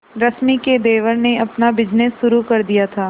रश्मि के देवर ने अपना बिजनेस शुरू कर दिया था